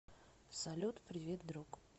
салют привет друг